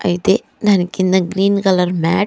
అయితే దానికింద green colour mat --